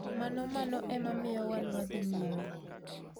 Mano mano ema miyo wan wadhii nyime".